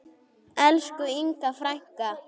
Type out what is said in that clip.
Elsku Inga frænka.